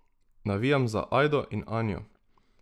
Navijam za Ajdo in Anjo.